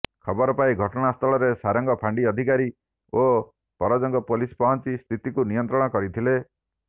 ଖବର ପାଇ ଘଟଣା ସ୍ଥଳରେ ସରାଙ୍ଗ ଫାଣ୍ଡି ଅଧିକାରୀ ଓ ପରଜଙ୍ଗ ପୋଲିସ ପହଞ୍ଚି ସ୍ଥିତିକୁ ନିୟନ୍ତ୍ରଣ କରିଥିଲେ